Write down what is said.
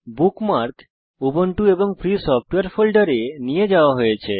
bookmark Ubuntu and free সফটওয়ারে ফোল্ডারে নিয়ে যাওয়া হয়েছে